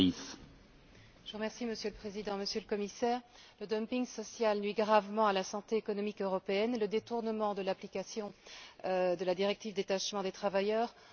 Monsieur le Président, Monsieur le Commissaire, le dumping social nuit gravement à la santé économique européenne et le détournement de l'application de la directive sur le détachement des travailleurs en est la meilleure preuve.